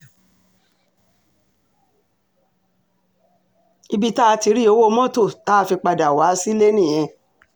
ibi tá a ti rí owó mọ́tò tá a fi padà wá sílé nìyẹn